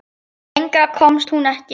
Lengra komst hún ekki.